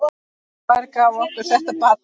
Hver gaf okkur þetta barn?